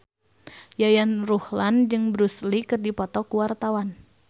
Yayan Ruhlan jeung Bruce Lee keur dipoto ku wartawan